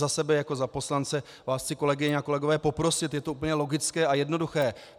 Za sebe jako za poslance vás chci, kolegyně a kolegové, poprosit, je to úplně logické a jednoduché.